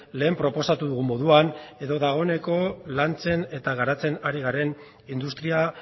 lehen proposatu dugun moduan edo dagoeneko lantzen eta garatzen ari garen industria